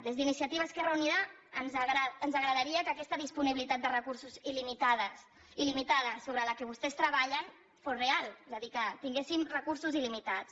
des d’iniciativa esquerra unida ens agradaria que aquesta disponibilitat de recursos il·limitada sobre la qual vostès treballen fos real és a dir que tinguéssim recursos il·limitats